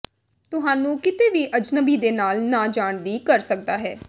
ਤੁਹਾਨੂੰ ਕਿਤੇ ਵੀ ਅਜਨਬੀ ਦੇ ਨਾਲ ਨਾ ਜਾਣ ਦੀ ਕਰ ਸਕਦਾ ਹੈ